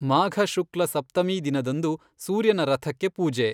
ಮಾಘಶುಕ್ಲ ಸಪ್ತಮೀ ದಿನದಂದು ಸೂರ್ಯನ ರಥಕ್ಕೆ ಪೂಜೆ.